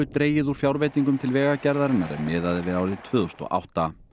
dregið úr fjárveitingum til Vegagerðarinnar ef miðað er við árið tvö þúsund og átta